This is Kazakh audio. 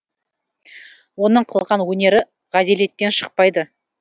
оның қылған өнері ғаделеттен шықпайды